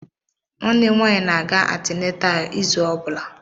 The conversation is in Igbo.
Nwanne m nwaanyị na-aga antinental izu ọ bụla.